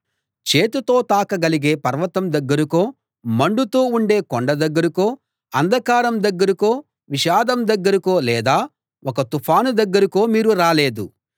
చేతితో తాకగలిగే పర్వతం దగ్గరకో మండుతూ ఉండే కొండ దగ్గరకో అంధకారం దగ్గరకో విషాదం దగ్గరకో లేదా ఒక తుఫాను దగ్గరకో మీరు రాలేదు